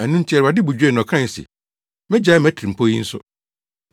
Ɛno nti, Awurade bo dwoe na ɔkae se, “Megyae mʼatirimpɔw yi nso.”